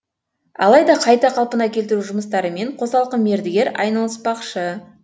алайда қайта қалпына келтіру жұмыстарымен қосалқы мердігер айналыспақшы